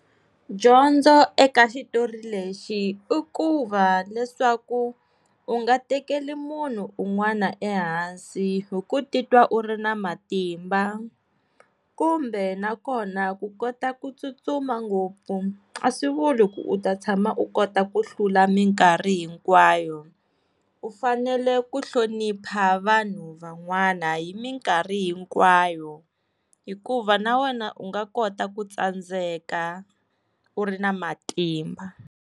Dyondzo eka xitori lexi i ku va, leswaku u nga tekeli munhu un'wana ehansi hi ku titwa u ri na matimba kumbe na kona ku kota ku tsutsuma ngopfu a swi vuli ku u ta tshama u kota ku hlula minkarhi hinkwayo, u fanele ku hlonipha vanhu van'wana hi minkarhi hinkwayo hikuva na wena u nga kota ku tsandzeka u ri na matimba.